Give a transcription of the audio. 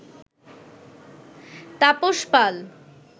Tapas Pal